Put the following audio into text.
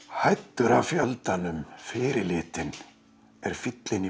hæddur af fjöldanum fyrirlitinn er fíllinn í